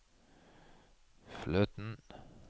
fløten